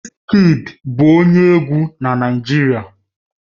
Wizkid bụ onye egwu na Naịjirịa